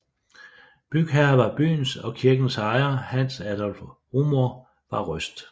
Bygherre var byens og kirkens ejer Hans Adolph Rumohr fra Røst